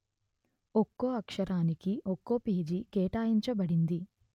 ఒకో అక్షరానికి ఒకో పేజీ కేటాయించబడింది